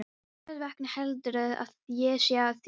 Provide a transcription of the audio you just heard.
Hversvegna heldurðu að ég sé að því?